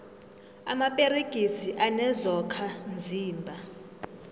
amaperegisi anezokha mzimba